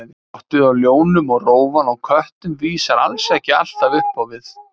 Skottið á ljónum og rófan á köttum vísar alls ekki alltaf upp á við.